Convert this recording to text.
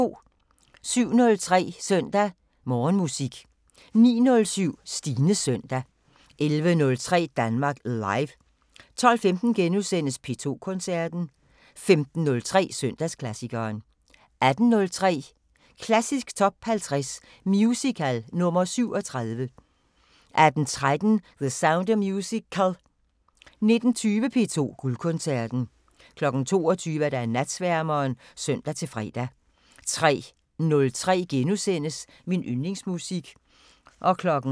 07:03: Søndag Morgenmusik 09:07: Stines søndag 11:03: Danmark Live 12:15: P2 Koncerten * 15:03: Søndagsklassikeren 18:03: Klassisk Top 50 Musical – nr. 37 18:13: The Sound of Musical 19:20: P2 Guldkoncerten 22:00: Natsværmeren (søn-fre) 03:03: Min yndlingsmusik *